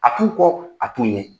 A t'u kɔ, a t'u ɲɛ !